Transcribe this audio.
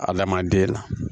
A lamaden